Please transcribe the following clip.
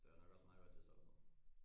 Det var nok også meget godt det stoppede